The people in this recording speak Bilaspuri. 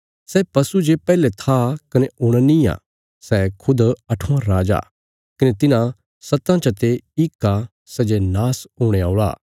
सै पशु जे पैहले था कने हुण निआं सै खुद अठवां राजा कने तिन्हां सत्तां चते इक आ सै जे नाश हुणे औल़ा